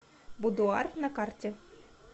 будуар на карте